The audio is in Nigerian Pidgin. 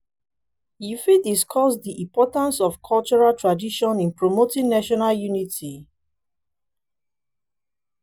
you fit discuss di importance of cultural traditions in promoting national unity?